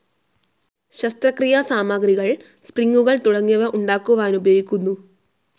ശസ്ത്രക്രീയാ സാമാഗ്രികൾ, സ്പ്രിങ്ങുകൾ തുടങ്ങിയവ ഉണ്ടാക്കുവാനുപയോഗിക്കുന്നു.